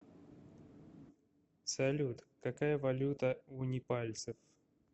салют какая валюта у непальцев